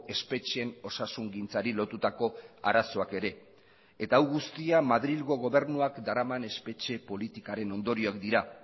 espetxeen osasungintzari lotutako arazoak ere eta hau guztia madrilgo gobernuak daraman espetxe politikaren ondorioak dira